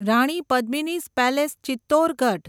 Rani Padmini's palace Chittorgarh